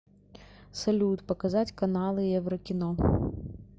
салют показать каналы еврокино